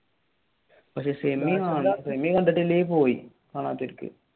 പക്ഷെ സെമി കണ്ടിട്ടില്ലെങ്കിൽ പോയി